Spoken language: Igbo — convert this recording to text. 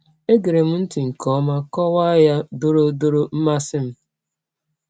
E gerem ntị nke ọma, nkọwa ya dọọrọ dọọrọ mmasị m.